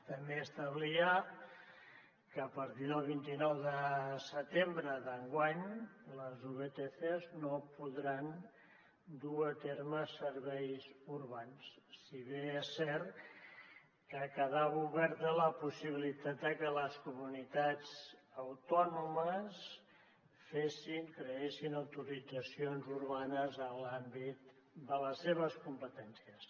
també establia que a partir del vint nou de setembre d’enguany les vtcs no podran dur a terme serveis urbans si bé és cert que quedava oberta la possibilitat de que les comunitats autònomes creessin autoritzacions urbanes en l’àmbit de les seves competències